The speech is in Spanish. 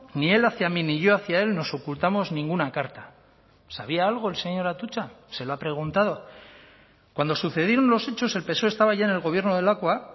ni el hacia mí ni yo hacia él nos ocultamos ninguna carta sabía algo el señor atutxa se lo ha preguntado cuando sucedieron los hechos el psoe estaba ya en el gobierno de lakua